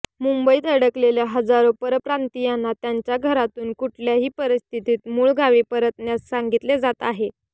मुंबईत अडकलेल्या हजारो परप्रांतीयांना त्यांच्या घरातून कुठल्याही परिस्थितीत मूळगावी परतण्यास सांगितले जात आहे